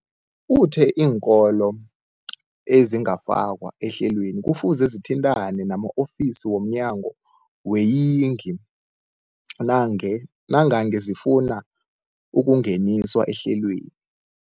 Uthe iinkolo ezingakafakwa ehlelweneli kufuze zithintane nama-ofisi wo mnyango weeyingi nange nangange zifuna ukungeniswa ehlelweni.